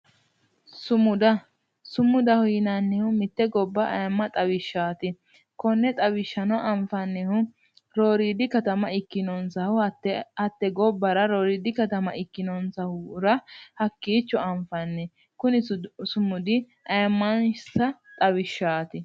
Sumuda, sumudaho yinneemmohu mite gobba ayimma xawisanoho kone xawishshano anfannihu rooridi katama ikkinonsa hatte gobbara rooridi katama ikkinonsahura hakkicho anfanni, kuni sumudi ayimmansa xawishshati.